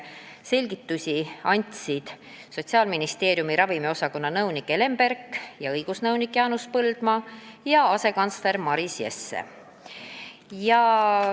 Selgitusi andsid neile Sotsiaalministeeriumi ravimiosakonna nõunik Helen Berk ja õigusnõunik Jaanus Põldmaa ning asekantsler Maris Jesse.